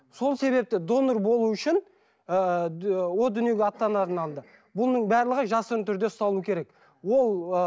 сол себепті донор болу үшін ыыы ы дүниеге аттанардың алдында бұның барлығы жасырын түрде ұсталу керек ол ы